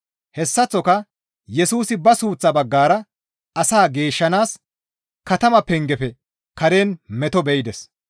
Hessaththoka Yesusi ba suuththaa baggara asaa geeshshanaas katama pengefe karen meto be7ides.